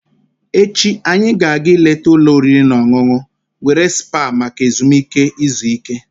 Echi, anyị ga-aga ileta ụlọ oriri na ọṅụṅụ were spa maka ezumike izu ike.